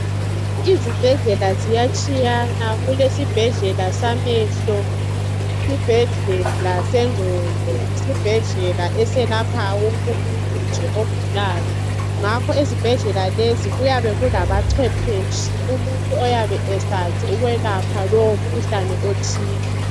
Izibhedlela ziyatshiyana kulesibhedlela samehlo kulesibhedlela sengqondo kulesibhedlela eselapha wonke umuntu nje ogulayo ngakho ezibhendlela lezi kuyabe kulabancephetshi umuntu oyabe esazi ukwelapha lowo mkhuhlane othile.